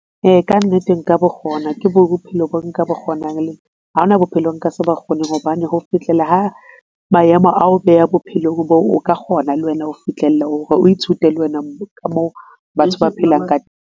Ee, kannete nka bo kgona ke bophelo boo nka bo kgonang le nna. Ha ona bophelo nka se bo kgone hobane ho fihlela ha maemo ao beha bophelong boo o ka kgona le wena ho fihlella ho re o ithute le wena ka moo batho ba phelang ka.